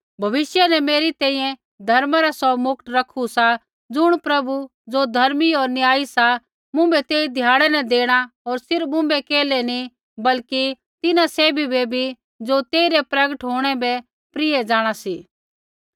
भविष्य न मेरी तैंईंयैं धर्मा रा सौ मुकट रखू सा ज़ुण प्रभु ज़ो धर्मी होर न्यायी सा मुँभै तेई ध्याड़ै न देणा होर सिर्फ़ मुँभै केल्है नी बल्कि तिन्हां सैभी बै भी ज़ो तेइरै प्रगट होंणै बै प्रिय जाँणा सी